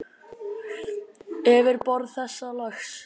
Yfirborð þessa lags